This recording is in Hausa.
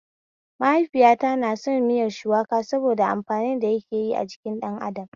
Mahaifiyata na son miyar shukuwa saboda amfanin da yake yi a jikin ɗan adam